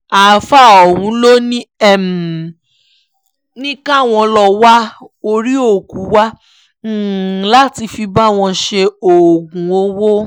àáfàá ọ̀hún ló sì ní káwọn lọ́ọ́ wá orí òkú wá láti fi bá wọn ṣe oògùn owó